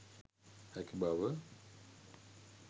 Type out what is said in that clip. හැකි බව